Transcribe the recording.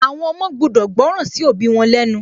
Àwọn ọmọ gbudọ̀ gbọ́ràn sí òbí wọn lẹ́ nu